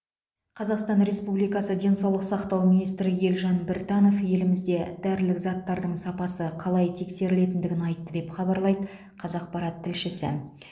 қазақстан республикасы денсаулық сақтау министрі елжан біртанов елімізде дәрілік заттардың сапасы қалай тексерілетіндігін айтты деп хабарлайды қазақпарат тілшісі